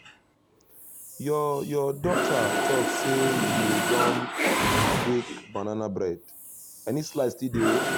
your your daughter talk say you don bake banana bread — any slice still dey?